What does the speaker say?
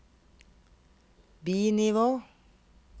bi-nivå